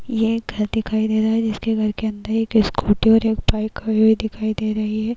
ये एक घर दिखाई दे रहा है। जिस घर के अंदर एक स्कूटी और एक बाइक खड़ी हुई दिखाई दे रही है।